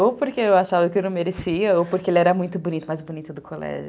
Ou porque eu achava que ele não merecia, ou porque ele era muito bonito, mais bonito do colégio.